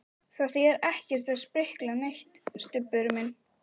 Það þýðir ekkert að sprikla neitt, Stubbur minn.